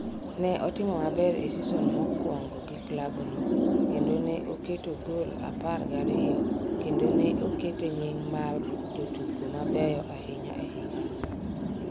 Ne otimo maber e seson mokwongo gi klabno, kendo ne oketo gol apar gariyo kendo ne okete nying’ mar jotugo mabeyo ahinya e higano.